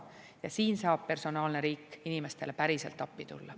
Ja siin saab personaalne riik inimestele päriselt appi tulla.